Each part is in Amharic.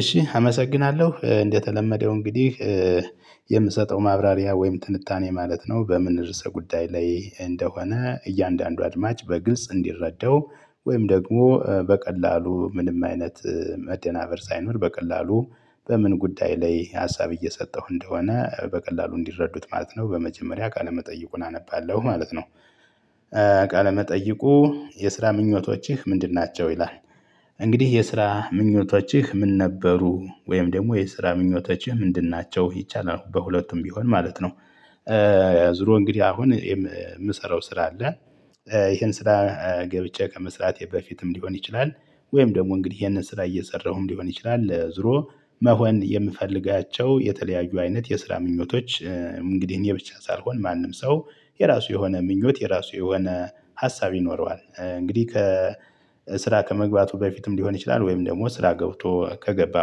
እሺ አመሰግናለሁ እንደተለመደው እንግዲህ የምሰጠው ማብራሪያ ወይም ትንታኔ ማለት ነው በምን ርዕሰ ጉዳይ ላይ እንደሆነ እያንዳንዱ አድማጭ በግልጽ እንዲረዳው ወይም ደግሞ በቀላሉ ምንም አይነት መደናበር ሳይኖር በቀላሉ በምን ጉዳይ ላይ ሀሳብ እየሰጠሁ እንደሆነ በቀላሉ እንዲረዱት ማለት ነው በመጀመሪያ ቃለ መጠይቁን አነባለሁ ማለት ነው። ቃለ መጠይቁ የስራ ምኞቶችህ ምንድን ናቸው ይላል? እንግዲህ የስራ ምኞቶችህ ምን ነበሩ ወይም ደግሞ የስራ ምኞቶችህ ምንድን ናቸው ይቻላል በሁለቱም ቢሆን ማለት ነው። ያዙሮ እንግዲህ አሁን የምሰራው ስራ አለ። ይሄን ስራ ገብቼ ከመስራቴ በፊትም ሊሆን ይችላል ወይም ደግሞ እንግዲህ ይሄንን ስራ እየሰራሁም ሊሆን ይችላል ዞሮ መሆን የምፈልጋቸው የተለያዩ አይነት የስራ ምኞቶች። እንግዲህ እኔ ብቻ ሳልሆን ማንም ሰው የራሱ የሆነ ምኞት የራሱ የሆነ ሀሳብ ይኖረዋል። እንግዲህ ከ ከስራ ከመግባቱ በፊትም ሊሆን ይችላል ወይም ደግሞ ስራ ገብቶ ከገባ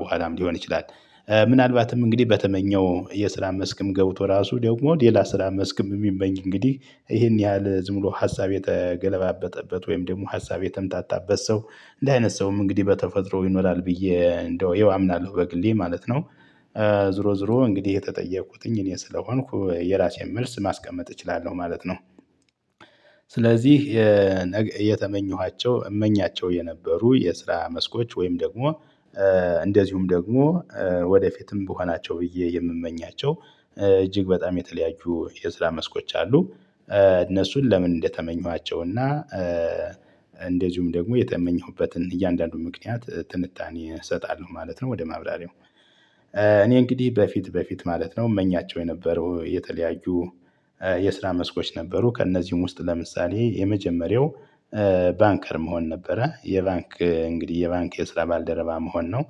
በኋላም ሊሆን ይችላል። ምናልባትም እንግዲህ በተመኘው የስራ መስክም ገቡቶ ራሱ ደግሞ ሌላ ስራ መስክም የሚመኝ እንግዲህ ይሄን ያህል ዝም ብሎ ሀሳብ የተገለባበጠበት ወይም ደግሞ ሀሳብ የተምታታበት ሰው እንደ አይነት ሰውም እንግዲህ በተፈጥሮ ይኖራል ብዬ እንደው ይኸው አምናለሁ በግሌ ማለት ነው። ዙሮ ዙሮ እንግዲህ የተጠየቅኩትኝ እኔ ስለሆንኩ የራሴን መልስ ማስቀመጥ እችላለሁ ማለት ነው። ስለዚህ እየተመኘኋቸው እመኛቸው የነበሩ የስራ መስኮች ወይም ደግሞ እንደዚሁም ደግሞ ወደፊትም ብሆናቸው ብዬ የምመኛቸው እጅግ በጣም የተለያዩ የስራ መስኮች አሉ። እነሱን ለምን እንደተመኘኋቸው እና እንደዚሁም ደግሞ የተመኘሁበትን እያንዳንዱ ምክንያት ትንታኔ እሰጣለሁ ማለት ነው። ወደ ማብራሪያው እኔ እንግዲህ በፊት በፊት ማለት ነው። እመኛቸው የነበረው የተለያዩ የስራ መስኮች ነበሩ። ከእነዚህም ውስጥ ለምሳሌ የመጀመሪያው ባንከር መሆን ነበረ የባንክ እንግዲህ የባንክ የስራ ባልደረባ መሆን ነው።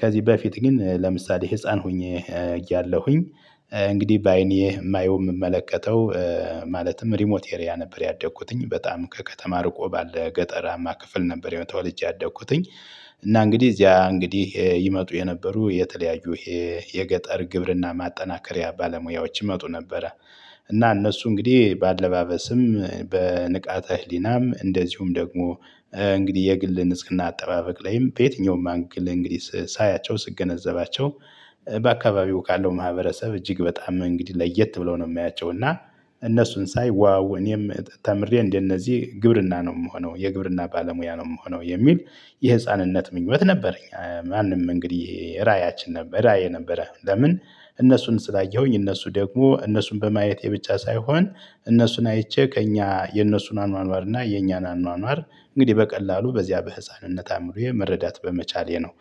ከዚህ በፊት ግን ለምሳሌ ህፃን ሆኜ እያለሁኝ እንግዲህ በአይኔ የማየው የምመለከተው ማለትም ሪሞት ኤሪያ ነበር ያደኩትኝ በጣም ከከተማ ርቆ ባለ ገጠራማ ክፍል ነበር። ተወልጄ ያደኩትኝ እና እንግዲህ እዚያ እንግዲህ ይመጡ የነበሩ የተለያዩ የገጠር ግብርና ማጠናከሪያ ባለሙያዎች ይመጡ ነበረ። እና እነሱ እንግዲህ በአለባበስም በንቃተ ህሊናም እንደዚሁም ደግሞ እንግዲህ የግል ንጽህና አጠባበቅ ላይም በየትኛውም አንግል እንግዲህ ሳያቸው ስገነዘባቸው በአካባቢው ካለው ማህበረሰብ እጅግ በጣም እንግዲህ ለየት ብለው ነው የማያቸው። እና እነሱን ሳይ ዋው እኔም ተምሬ እንደነዚህ ግብርና ነው የምሆነው የግብርና ባለሙያ ነው የምሆነው የሚል የህፃንነት ምኞት ነበረኝ። ማንም እንግዲህ ራያችን ነበረ ራዕየ ነበረ። ለምን እነሱን ስላየሁኝ እነሱ ደግሞ እነሱን በማየቴ ብቻ ሳይሆን እነሱን አይቼ ከእኛ የእነሱን አኗኗር እና የኛን አኗኗር እንግዲህ በቀላሉ በዚያ በህፃንነት አምሮዬ መረዳት በመቻሌ ነው።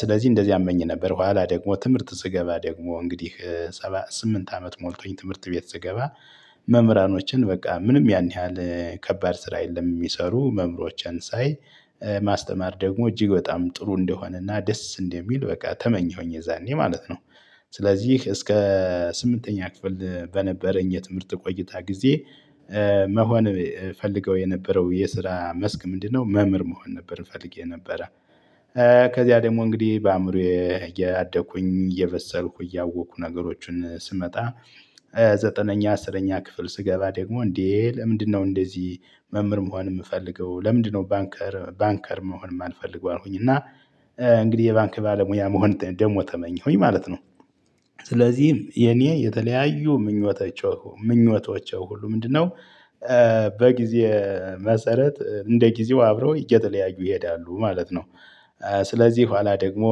ስለዚህ እንደዚያ አመኝ ነበር። ኋላ ደግሞ ትምህርት ስገባ ደግሞ እንግዲህ ስምንት አመት ሞልቶኝ ትምህርት ቤት ስገባ መምህራኖችን በቃ ምንም ያን ያህል ከባድ ስራ የለም የሚሰሩ መምህሮችን ሳይ ማስተማር ደግሞ እጅግ በጣም ጥሩ እንደሆነና ደስ እንደሚል በቃ ተመኘሁኝ የዛኔ ማለት ነው። ስለዚህ እስከ ስምንተኛ ክፍል በነበረኝ የትምህርት ቆይታ ጊዜ መሆን እፈልገው የነበረው የስራ መስክ ምንድነው? መምህር መሆን ነበር እፈልግ የነበረ። ከዚያ ደግሞ እንግዲህ በአእምሮዬ እያደኩኝ እየበሰልኩ እያወኩ ነገሮችን ስመጣ ዘጠነኛ አስረኛ ክፍል ስገባ ደግሞ እንዴ ለምንድነው እንደዚህ? መምህር መሆን የምፈልገው ለምንድነው ባንከር ባንከር መሆንም የማልፈልገው አልሆንኩኝ እና። እንግዲህ የባንክ ባለሙያ መሆን ደግሞ ተመኘሁኝ ማለት ነው። ስለዚህ የኔ የተለያዩ ምኞቶች ምኞቶቼ ሁሉ ምንድነው? በጊዜ መሰረት እንደ ጊዜው አብረው እየተለያዩ ይሄዳሉ ማለት ነው። ስለዚህ ኋላ ደግሞ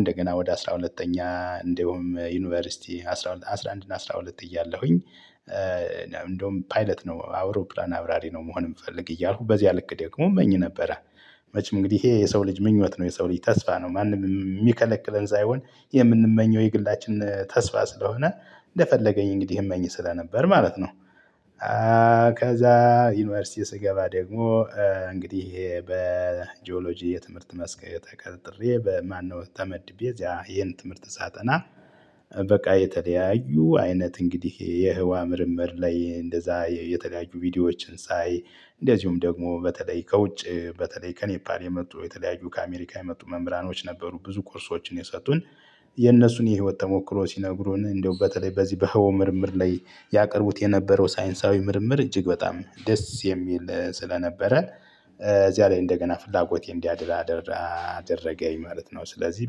እንደገና ወደ አስራ ሁለተኛ እንደውም ዩኒቨርሲቲ አስራ አንድ እና አስራ ሁለት እያለሁኝ እንደውም ፓይለት ነው አውሮፕላን አብራሪ ነው መሆን የምፈልግ እያልኩ በዚያ ልክ ደግሞ እመኝ ነበረ። መቼ እንግዲህ ይሄ የሰው ልጅ ምኞት ነው የሰው ልጅ ተስፋ ነው ማንም የሚከለክለን ሳይሆን የምንመኘው የግላችን ተስፋ ስለሆነ እንደፈለገኝ እንግዲህ እመኝ ስለነበር ማለት ነው። ከዛ ዩኒቨርሲቲ ስገባ ደግሞ እንግዲህ በጂኦሎጂ የትምህርት መስክ ተቀጥሬ በማነው ተመድቤ እዚያ ይሄን ትምህርት ሳጠና። በቃ የተለያዩ አይነት እንግዲህ የህዋ ምርመር ላይ እንደዛ የተለያዩ ቪዲዮዎችን ሳይ እንደዚሁም ደግሞ በተለይ ከውጭ በተለይ ከኔፓል የመጡ የተለያዩ ከአሜሪካ የመጡ መምህራኖች ነበሩ ብዙ ኮርሶችን የሰጡን። የነሱን የህይወት ተሞክሮ ሲነግሩን እንደው በተለይ በዚህ በህዋው ምርምር ላይ ያቀረቡት የነበረው ሳይንሳዊ ምርምር እጅግ በጣም ደስ የሚል ስለነበረ እዚያ ላይ እንደገና ፍላጎቴ እንዲያድር አደረገኝ ማለት ነው። ስለዚህ